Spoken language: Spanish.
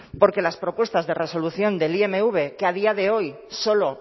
porque las propuestas de resolución del imv que a día de hoy solo